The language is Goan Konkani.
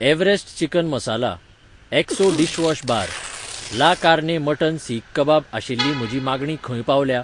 Everest chicken masala, Exo dishwash bar, la carne mutton seekh kebab आशिल्ली म्हजी मागणी खंय पावल्या